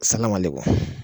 Salamaleikum